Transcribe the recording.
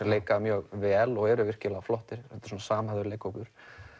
leika mjög vel og eru virkilega flottir þetta er svona samhæfður leikhópur